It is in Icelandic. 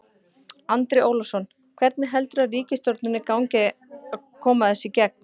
Andri Ólafsson: Hvernig heldurðu ríkisstjórninni gangi að koma þessu í gegn á þingi?